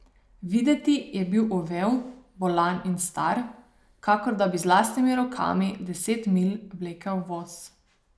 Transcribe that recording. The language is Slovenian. Videti je bil uvel, bolan in star, kakor da bi z lastnimi rokami deset milj vlekel voz.